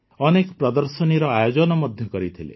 ଅନେକ ପ୍ରଦର୍ଶନୀର ଆୟୋଜନ ମଧ୍ୟ କରିଥିଲେ